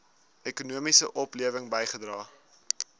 ekonomiese oplewing bygedra